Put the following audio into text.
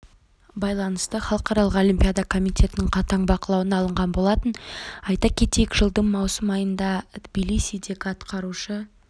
байланысты халықаралық олимпиада комитетінің қатаң бақылауына алынған болатын айта кетейік жылдың маусым айында тбилисидегі атқарушы